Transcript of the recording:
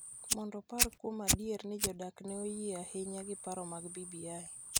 mondo opar kuom adier ni jodak ne oyie ahinya gi paro mag BBI